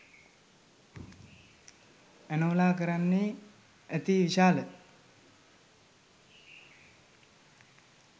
ඇනෝලා කරන්නේ අති විශාල